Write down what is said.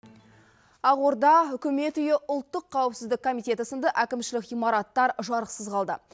ақорда үкімет үйі ұлттық қауіпсіздік комитеті сынды әкімшілік ғимараттар жарықсыз қалды